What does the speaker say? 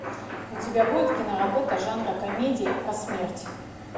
у тебя будет киноработа жанра комедия про смерть